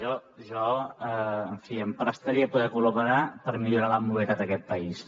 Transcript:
jo en fi em prestaré a poder col·laborar per millorar la mobilitat a aquest país